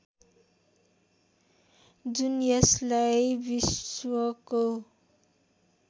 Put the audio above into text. जुन यसलाई विश्वको